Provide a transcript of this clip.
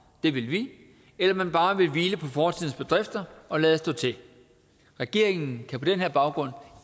det vil vi eller man bare vil hvile på fortidens bedrifter og lade stå til regeringen kan på den her baggrund